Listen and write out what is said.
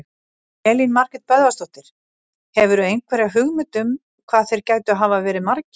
Elín Margrét Böðvarsdóttir: Hefurðu einhverja hugmynd um hvað þeir gætu hafa verið margir?